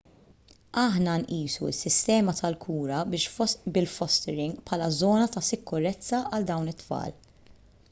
aħna nqisu s-sistema tal-kura bil-fostering bħala żona ta' sikurezza għal dawn it-tfal